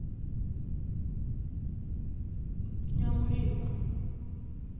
nyamulimba